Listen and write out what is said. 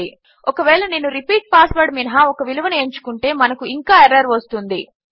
ఒకవేళ నేను repeat password మినహా ఒక విలువను ఎంచుకుంటే మనకు ఇంకా ఎర్రర్ వస్తుంది